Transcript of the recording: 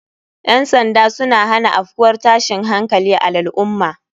Ƴan sanda suna hana afkuwar tashin hankali a lal ummah